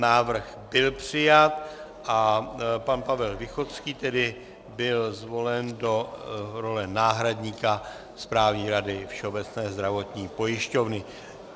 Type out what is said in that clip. Návrh byl přijat a pan Pavel Východský tedy byl zvolen do role náhradníka Správní rady Všeobecné zdravotní pojišťovny.